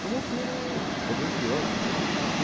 Tomou um tiro, sobreviveu ao tiro.